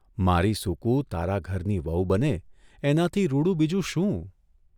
મારી સુકુ તારા ઘરની વહુ બને એનાથી રૂડું બીજું શું?